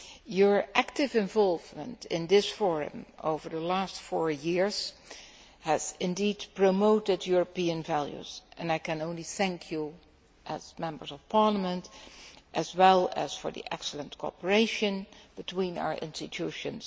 Your active involvement in this forum over the last four years has indeed promoted European values and I can only thank you as Members of Parliament for this, as well as for the excellent cooperation between our institutions.